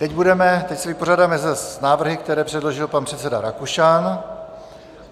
Teď se vypořádáme s návrhy, které předložil pan předseda Rakušan,